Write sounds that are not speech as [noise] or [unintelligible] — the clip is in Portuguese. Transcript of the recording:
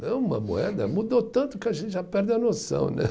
[unintelligible] uma moeda mudou tanto que a gente já perde a noção, né? [laughs]